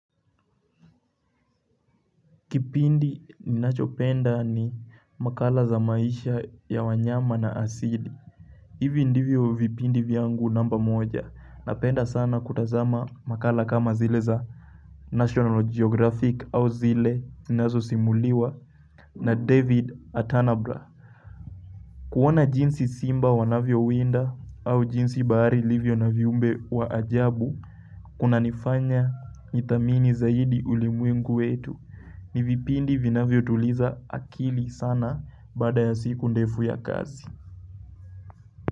Kipindi ninachopenda ni makala za maisha ya wanyama na asili hivi ndivyo vipindi vyangu namba moja Napenda sana kutazama makala kama zile za National Geographic au zile zinazosimuliwa na David Attenborough kuona jinsi simba wanavyowinda au jinsi bahari ilivyo na viumbe wa ajabu kunanifanya nithamini zaidi ulimwengu wetu ni vipindi vinavyotuliza akili sana baada ya siku ndefu ya kazi.